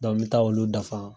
n bɛ taa olu dafa.